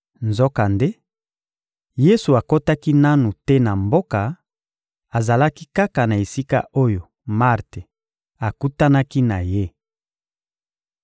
Nzokande, Yesu akotaki nanu te na mboka; azalaki kaka na esika oyo Marte akutanaki na Ye.